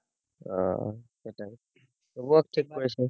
আহ সেটাই তুবও ঠিক করেছে